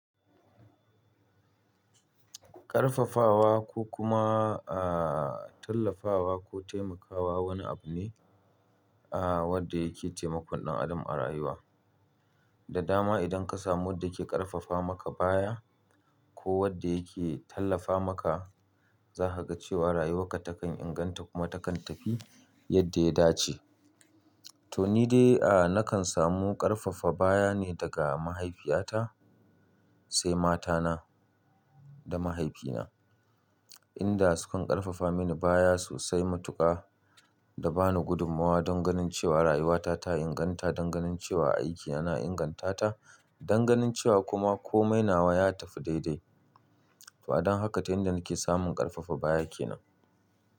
Ƙarfafawa ko kuma, aa tallafawa ko taimakawa wani abu ne, aa wanda yake taimakon ɗan adam a rayuwa. Da dama idan ka samu wanda ke ƙarfafa maka baya ko wanda yake tallafa maka, za ka ga cewa rayuwarka takan inganta kuma takan tafi yadda ya dace. To ni dai, aa nakan samu ƙarfafa baya ne daga mahaifiyata sai matana da mahaifina, inda sukan ƙarfafa mini baya sosai matuƙa da ba ni gudumawa don ganin cewa rayuwata ta inganta, don ganin cewa aiki yana ingantata, don ganin cewa kuma komai nawa ya tafi daidai. To adon haka ta inda nake samun ƙarfafa baya kenan.